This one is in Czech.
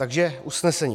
Takže usnesení: